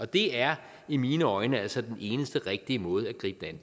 det er i mine øjne altså den eneste rigtige måde at gribe det